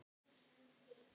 Ó, hann er svo indæll!